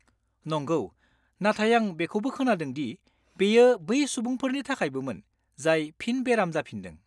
नंगौ, नाथाय आं बेखौबो खोनादों दि बेयो बै सुबुंफोरनि थाखायबोमोन जाय फिन बेराम जाफिनदों।